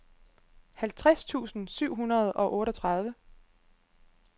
halvtreds tusind syv hundrede og otteogtredive